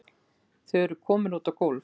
Þau eru komin út á gólf.